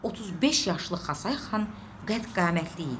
35 yaşlı Xasay xan qədd-qamətli idi.